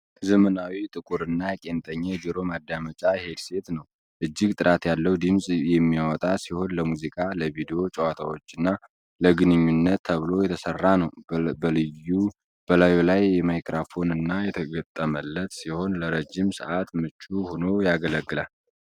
ዘመናዊ፣ ጥቁርና ቄንጠኛ የጆሮ ማዳመጫ ሄድሴት ነው። እጅግ ጥራት ያለው ድምፅ የሚያወጣ ሲሆን፤ ለሙዚቃ፣ ለቪዲዮ ጨዋታዎችና ለግንኙነት ተብሎ የተሰራ ነው። በላዩ ላይ ማይክራፎን የተገጠመለት ሲሆን፣ ለረጅም ሰዓት ምቹ ሆኖ ያገለግላል።